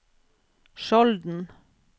Skjolden